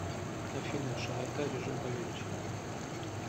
афина широта режим павелича